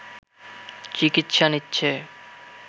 চিকিৎসা নিচ্ছে